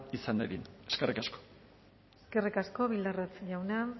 izan dadin eskerrik asko eskerrik asko bildarratz jauna